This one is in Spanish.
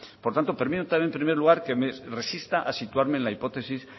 por tanto permítame en primer lugar que me resista a situarme en la hipótesis